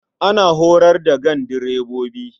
Ana horar da gandirbobi.